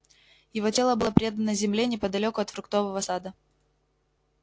его тело было предано земле неподалёку от фруктового сада